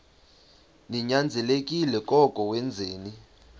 ninyanzelekile koko wenzeni